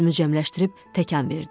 Özümü cəmləşdirib təkən verdim.